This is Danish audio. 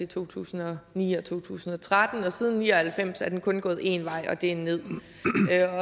to tusind og ni og to tusind og tretten og siden nitten ni og halvfems er den kun gået én vej og det er nederst